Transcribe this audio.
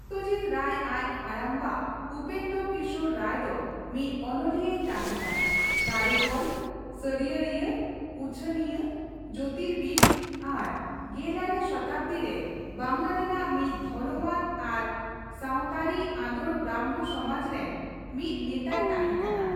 ᱥᱚᱛᱛᱚᱡᱤᱛ ᱨᱟᱭ ᱟᱡ ᱦᱟᱲᱟᱢ ᱵᱟ ᱩᱯᱮᱱᱫᱨᱚᱠᱤᱥᱳᱨ ᱨᱟᱭ ᱫᱚ ᱢᱤᱫ ᱚᱱᱚᱞᱤᱭᱟᱹᱭ ᱛᱟᱸᱦᱮ ᱠᱟᱱᱟ, ᱠᱟᱹᱨᱤᱜᱚᱞ, ᱥᱟᱹᱨᱭᱟᱹᱲᱤᱭᱟᱹ, ᱩᱪᱷᱟᱹᱱᱤᱭᱟᱹ, ᱡᱳᱛᱤᱨᱵᱤᱫ ᱟᱨ ᱜᱮᱞᱟᱨᱮ ᱥᱚᱛᱟᱵᱫᱤ ᱨᱮ ᱵᱟᱝᱞᱟ ᱨᱮᱱᱟᱜ ᱢᱤᱫ ᱫᱷᱚᱨᱚᱢᱟᱱ ᱟᱨ ᱥᱟᱶᱛᱟᱹᱨᱤ ᱟᱸᱫᱳᱲᱼᱵᱨᱟᱢᱢᱚ ᱥᱚᱢᱟᱡ ᱨᱮᱱ ᱢᱤᱫ ᱱᱮᱛᱟᱭ ᱛᱟᱦᱮᱸᱠᱟᱱᱟ ᱾